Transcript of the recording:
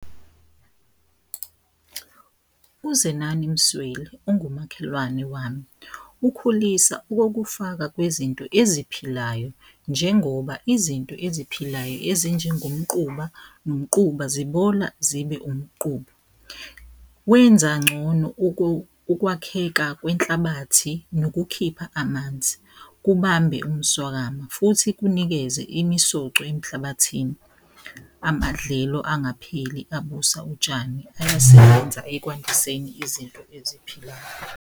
UZenani Msweli ongumakhelwane wami ukhulisa okokufaka kwezinto eziphilayo njengoba izinto eziphilayo ezinjengomquba nomquba zibola zibe umquba, wenza ncono ukwakheka kwenhlabathi nokukhipha amanzi, kubambe umswakamo futhi kunikeze imisoco emhlabathini. Amadlelo angapheli abusa utshani ayasebenza ekwandiseni izinto eziphilayo.